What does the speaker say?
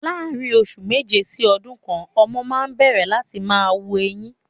Láàrin oṣù méje sí ọdún kan, ọmọ máa ń n bẹ̀rẹ̀ láti máa wu eyín